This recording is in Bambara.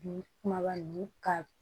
Bi kumaba ninnu ka